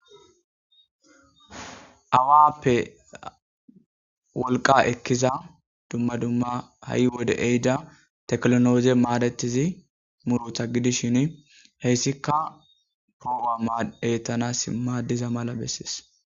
Awappe wolqa ekkiza dumma dumma ha7i wode ehida teklonooze maadetizi murotha gidishin heyssikka prooba eettanas maaddiza mala bessees.